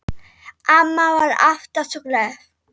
Amma var alltaf svo glöð.